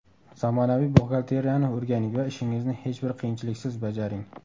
Zamonaviy buxgalteriyani o‘rganing va ishingizni hech bir qiyinchiliksiz bajaring!